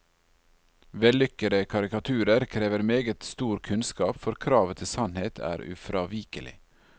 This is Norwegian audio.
Vellykkede karikaturer krever meget stor kunnskap, for kravet til sannhet er ufravikelig.